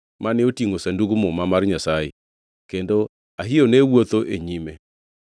mane otingʼo Sandug Muma mar Nyasaye, kendo Ahio ne wuotho e nyime.